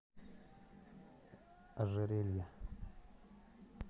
ожерелье